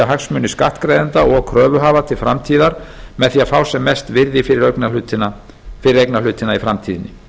hagsmuni skattgreiðenda og kröfuhafa til framtíðar með því að fá sem mest virði fyrir eignarhlutina í framtíðinni